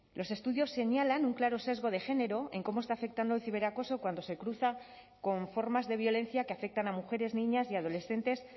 los estudios señalan un claro sesgo de género en cómo está afectando el ciberacoso cuando se cruza con formas de violencia que afectan a mujeres niñas y adolescentes